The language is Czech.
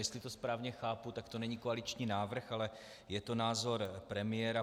Jestli to správně chápu, tak to není koaliční návrh, ale je to názor premiéra.